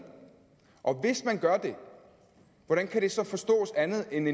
og hvis man gør det hvordan kan det så forstås andet end